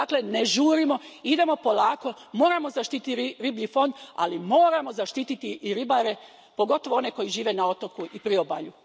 Dakle, ne žurimo, idemo polako, moramo zaštiti riblji fond, ali moramo zaštititi i ribare, pogotovo one koji žive na otoku i priobalju.